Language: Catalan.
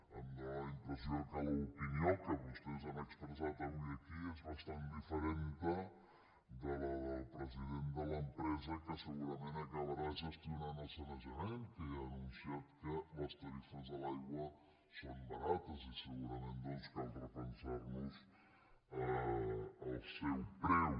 em dóna la impressió que l’opinió que vostès han expressat avui aquí és bastant diferent de la del president de l’empresa que segurament acabarà gestionant el sanejament que ja ha anunciat que les tarifes de l’aigua són barates i segurament cal repensar nos el seu preu